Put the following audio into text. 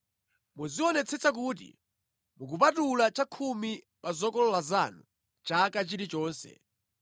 Muzionetsetsa kuti mukupatula chakhumi pa zokolola zanu chaka chilichonse.